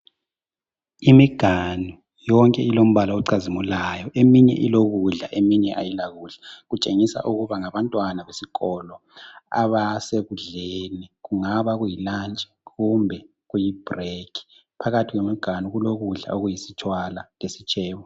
Imiganu yonke ilombala ocazimulayo eminye ilokudla eminye ayilakudla, kutshengisa ukuba ngabantwana besikolo abasekudleni, kungaba kuyilunch kumbe kuyibreak. Phakathi kwemiganu kulokudla okuyisitshwala lesitshebo.